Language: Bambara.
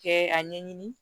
Kɛ a ɲɛɲini